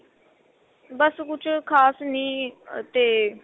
ਬੱਸ ਕੁੱਝ ਖਾਸ ਨੀ ਤੇ